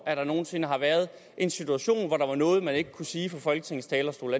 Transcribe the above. at der nogen sinde har været en situation hvor der var noget man ikke kunne sige fra folketingets talerstol